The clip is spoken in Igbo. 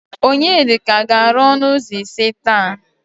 Onyedika ga-arụ ọnụ ụzọ ise taa.